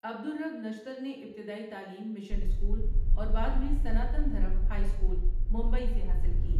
عبدالرب نشتر نے ابتدائی تعلیم مشن اسکول اور بعد میں سناتن دھرم ہائی اسکول ممبئی سے حاصل کی ۔